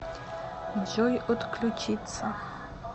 джой отключиться